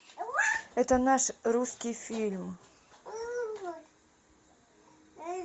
это наш русский фильм